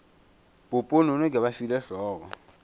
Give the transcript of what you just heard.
poponono ke ba file hlogo